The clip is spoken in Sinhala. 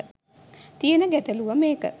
තියන ගැටලුව මේක